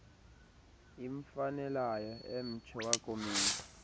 imfanelayo emtsho wakumila